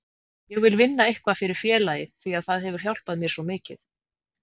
Ég vil vinna eitthvað fyrir félagið því að það hefur hjálpað mér svo mikið.